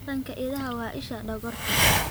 Taranka idaha waa isha dhogorta.